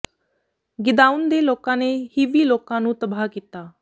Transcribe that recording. ਗਿਦਾਊਨ ਦੇ ਲੋਕਾਂ ਨੇ ਹਿੱਵੀ ਲੋਕਾਂ ਨੂੰ ਤਬਾਹ ਕੀਤਾ